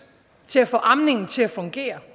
til at få amningen til at fungere